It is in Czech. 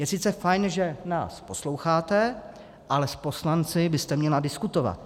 Je sice fajn, že nás posloucháte, ale s poslanci byste měla diskutovat.